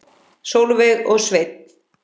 Sólveig og Sveinn.